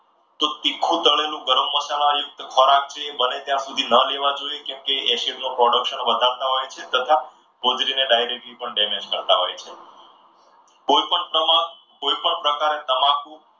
તો તીખું તળેલું ગરમ મસાલા યુક્ત ખોરાક બને ત્યાં સુધી ન લેવો જોઈએ કેમકે acidity નું production વધારતા હોય છે. તથા હોધરીને directly damage પણ કરતા હોય છે. કોઈપણ પ્રકારે તમાકુ